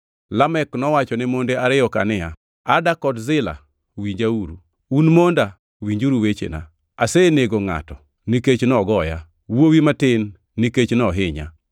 Lamek nowachone monde ariyo-ka niya, “Ada kod Zila, winjauru, un monda winjuru wechena. Asenego ngʼato, nikech nogoya, wuowi matin nikech nohinya.